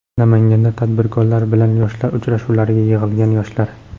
Namanganda tadbirkorlar bilan yoshlar uchrashuvlariga yig‘ilgan yoshlar.